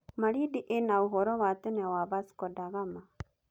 Malindi ĩna ũhoro wa tene wa Vasco da Gama.